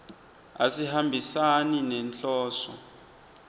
asihambisani nenhloso